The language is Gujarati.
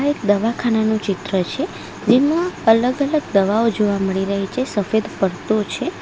એક દવાખાના નું ચિત્ર છે જેમાં અલગ અલગ દવાઓ જોવા મળી રહી છે સફેદ પડદો છે.